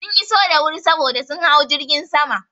Sun iso da wuri saboda sun hau jirgin sama.